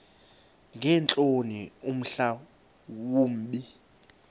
ngeentloni mhla wumbi